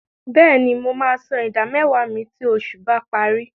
Bẹ́ẹ̀ni, mo máa san ìdámẹ́wàá mi tí oṣù bá parí.